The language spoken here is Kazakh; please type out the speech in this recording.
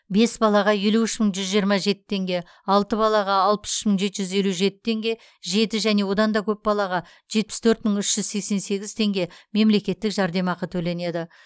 бес балаға елу үш мың біржүз жиырма жеті теңге алты балаға алпыс үш мың жеті жүз елу жеті теңге жеті және одан да көп балаға жетпіс төрт мың үш жүз сексен сегіз теңге мемлекеттік жәрдемақы төленеді